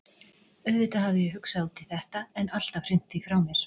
Auðvitað hafði ég hugsað út í þetta, en alltaf hrint því frá mér.